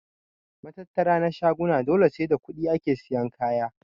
Matattara na shaguna dole sai da kuɗi ake siyan kaya.